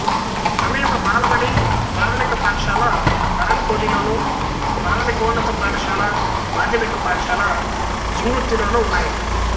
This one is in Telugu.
సమీప బాలబడి ప్రాథమిక పాఠశాల కరన్ కోటిలోను ప్రాథమికోన్నత పాఠశాల మాధ్యమిక పాఠశాల జింగుర్తిలోనూ ఉన్నాయి